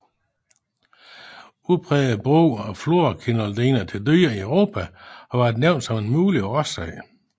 Udpræget brug af fluorquinoloner til dyr i Europa har været nævnt som en mulig årsag